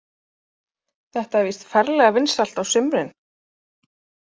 Þetta er víst ferlega vinsælt á sumrin.